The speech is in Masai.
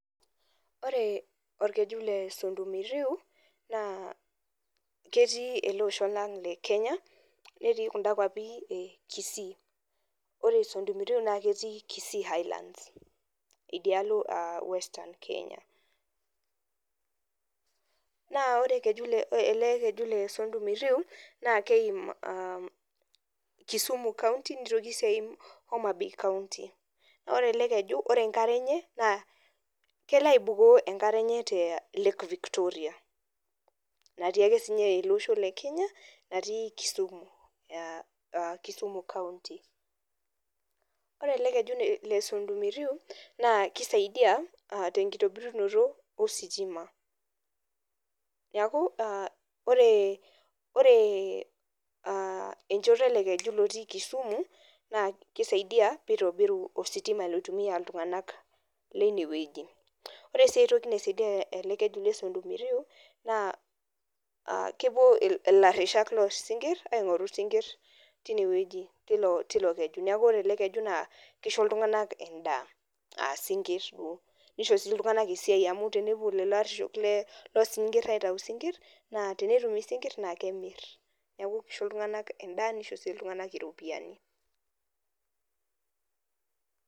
Ore orkeju le sondu miriu naa ketii ele osho lang le kenya mnetii kunda kuapi e kisii ore sondu miriu naa ketii kisii highlands idialo western kenya naa ore keju le ele keju le sondu miriu naa keim uh kisumu county nitoki sii aim homabaya county naa ore ele keju ore enkare enye naa kelo aibukoo enkare enye tee lake victoria natii ake sinye ele osho le kenya natii kisumu ea kisumu county ore ele keju le sondu miriu naa kisaidai uh tenkitobirunoto ositima niaku uh ore uh enchoto ele keju lotii kisumu naa kisaidia pitobiru ositima loitumia iltung'anak leine wueji ore sii aetoki naisaidia ele keju le sondu miriu naa kepuo ilarrishak losinkirr aing'oru isinkirr tine wueji tilo tilo keju neku ore ele keju naa kisho iltung'anak enda asinkirr duo nisho sii iltung'anak esiai amu tenepuo lelo arreshok le losinkirr aitau isinkirr naa tenetum isinkirr naa kemirr neku kisho iltung'anak endaa nisho sii iltung'anak iropiani.